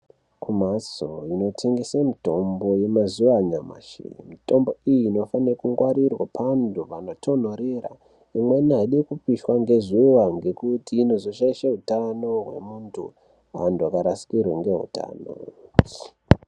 Kumhatso inotengese mitombo yemazuwa anyamashi, mitombo iyi inofane kungwarirwa pandu panotondorera, imweni aidi kupishwa ngezuwa ngekuti inozoshaishe utano hweantu, antu akarasikirwa neutano.